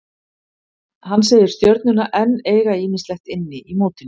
Hann segir Stjörnuna enn eiga ýmislegt inni í mótinu.